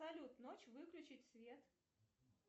салют ночь выключить свет